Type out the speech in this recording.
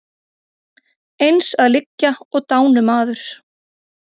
Eins að liggja og dánumaður.